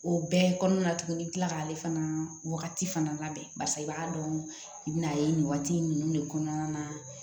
O bɛɛ kɔnɔna na tuguni i tila k'ale fana wagati fana labɛn barisa i b'a dɔn i bɛn'a ye nin waati in ninnu de kɔnɔna na